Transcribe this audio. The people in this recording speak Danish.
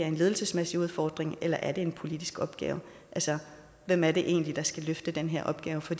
en ledelsesmæssig udfordring eller er en politisk opgave altså hvem er det egentlig der skal løfte den her opgave for